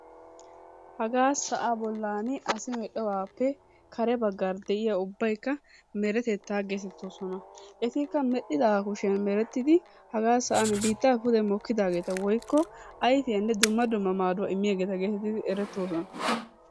Hagaa sa'aa bollaani asi medhdhobaappe kare baggaara de'iya ubbaykka meretettaa geetettoosona. Etikka medhdhidaagaa kushiyan merettidi hagaa sa'an biittaappe pude mokkidaageeta woykko ayfiyanne dumma dumma maaduwa immiyageeta geetettidi erettoosona.